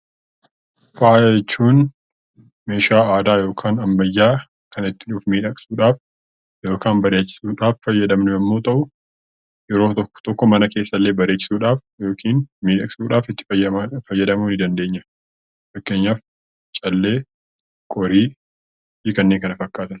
Faaya jechuun meeshaa aadaa yookaan ammayyaa Kan ittiin of miidhagsuudhaaf yookaan bareechisuudhaaf fayyadamnu yemmuu tahu, yeroo tokko tokko mana keessa illee bareechisuudhaaf yookiin miidhagsuuudhaaf itti fayyadamuu ni dandeenya. Fakkeenyaaf callee, qorii fi kanneen Kana fakkkatan.